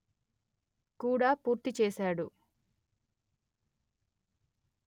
కూడా పూర్తి చేశాడు